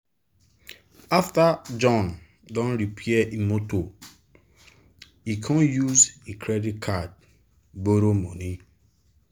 after john don repair e motor e com use e credit card borrow money.